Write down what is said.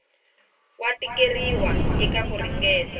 wa tikeriwa eka ku ringeta